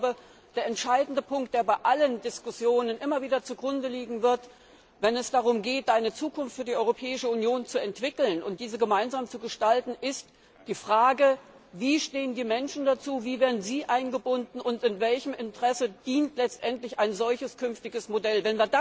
Aber ich glaube, der entscheidende Punkt, der bei allen Diskussionen immer wieder zugrunde liegen wird, wenn es darum geht, eine Zukunft für die Europäische Union zu entwickeln und diese gemeinsam zu gestalten, ist die Frage Wie stehen die Menschen dazu, wie werden sie eingebunden und welchem Interesse dient letztendlich ein solches künftiges Modell?